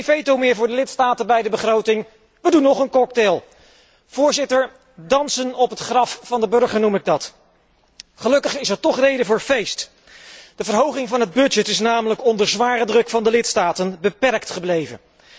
Geen veto meer voor de lidstaten bij de begroting nog een reden voor een cocktail! Voorzitter, dansen op het graf van de burger noem ik dat! Gelukkig is er toch reden voor feest. De verhoging van de begroting is namelijk onder zware druk van de lidstaten beperkt gebleven.